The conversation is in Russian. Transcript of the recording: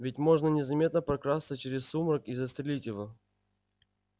ведь можно незаметно прокрасться через сумрак и застрелить его